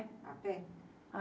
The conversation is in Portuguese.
A pé?